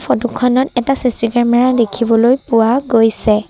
Photo খনত এটা C C camera দেখিবলৈ পোৱা গৈছে।